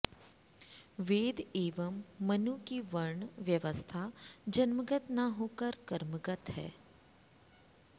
वेद एवं मनु की वर्ण व्यवस्था जन्मगत न होकर कर्मगत है